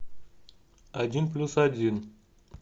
один плюс один